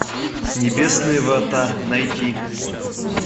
небесные врата найти